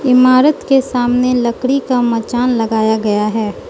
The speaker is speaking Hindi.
इमारत के सामने लकड़ी का मचान लगाया गया है।